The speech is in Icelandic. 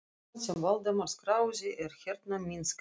Og sagan sem Valdimar skráði er hérna, myndskreytt.